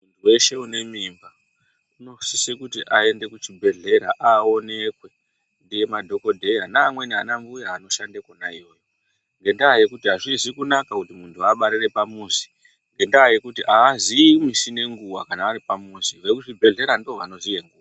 Weshe une mimba unosise kuti aende kuchibhedhlera aonekwe nemadhokodhaya naamweni anambuya anoshanda kwona iyoyo ngendaa yekuti azvisi kunaka kuti muntu abarire pamuzi, ngendaa yekuti aaziyi misi nenguwa kana ari pamuzi, ekuzvibhedhlera ndivo vanoziye nguva.